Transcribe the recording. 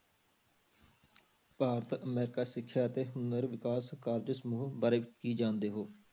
Bharat America ਸਿੱਖਿਆ ਅਤੇ ਨਰ ਵਿਕਾਸ ਕਾਰਜ ਸਮੂਹ ਬਾਰੇ ਕੀ ਜਾਣਦੇ ਹੋ?